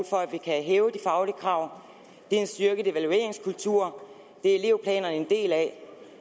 for at vi kan hæve de faglige krav er en styrket evalueringskultur det er elevplanerne en del af